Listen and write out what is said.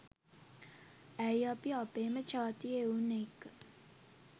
ඇයි අපි අපේම ජාතියේ එවුන් එක්ක